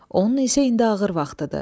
Onun isə indi ağır vaxtıdır.